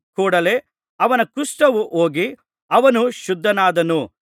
ಕೂಡಲೆ ಅವನ ಕುಷ್ಠವು ಹೋಗಿ ಅವನು ಶುದ್ಧನಾದನು